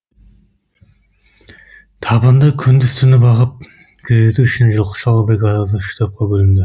табынды күндіз түні бағып күзету үшін жылқышылар бригадасы үш топқа бөлінді